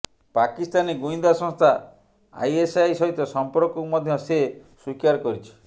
ପାକିସ୍ତାନୀ ଗୁଇନ୍ଦା ସଂସ୍ଥା ଆଇଏସଆଇ ସହିତ ସମ୍ପର୍କକୁ ମଧ୍ୟ ସେ ସ୍ୱୀକାର କରିଛି